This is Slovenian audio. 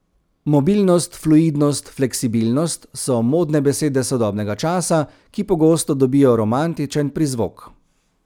Mobilnost, fluidnost, fleksibilnost so modne besede sodobnega časa, ki pogosto dobijo romantičen prizvok.